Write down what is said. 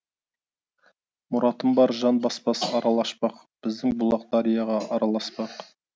мұратым бар жан баспас арал ашпақ біздің бұлақ дарияға араласпақ